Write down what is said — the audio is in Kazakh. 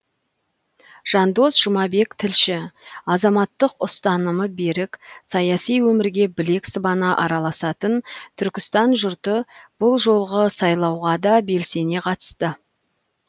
жандос жұмабек тілші азаматтық ұстанымы берік саяси өмірге білек сыбана араласатын түркістан жұрты бұл жолғы сайлауға да белсене қатысты